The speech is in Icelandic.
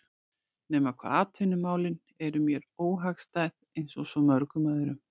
. nema hvað atvinnumálin eru mér óhagstæð einsog svo mörgum öðrum